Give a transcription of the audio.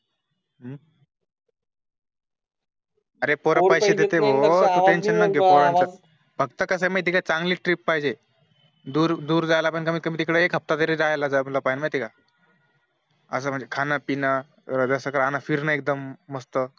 अरे पोर पैसे देता भो फक्त कस चांगली ट्रिप पाहिजे दूर दूर जायला तिकडे कमीत कमी एक हफ्ता जायला जायला पाहिजे माहिती आहे असं म्हणजे खान पिन जस राहणं फिरणं एकदम मस्त